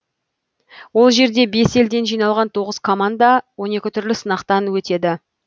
ол жерде бес елден жиналған тоғыз команда он екі түрлі сынақтан өтеді